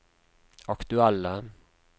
aktuelle